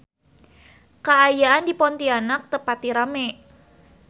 Kaayaan di Pontianak teu pati rame